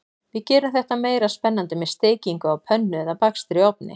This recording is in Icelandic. Við gerum þetta meira spennandi með steikingu á pönnu eða bakstri í ofni.